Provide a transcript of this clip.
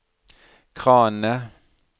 kranene